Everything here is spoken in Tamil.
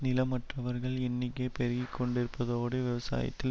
நிலமற்றவர்கள் எண்ணிக்கை பெருகிக்கொண்டிருப்பதோடு விவசாயத்தில்